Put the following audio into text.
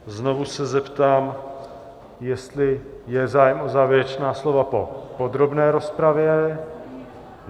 Znovu se zeptám, jestli je zájem o závěrečná slova po podrobné rozpravě.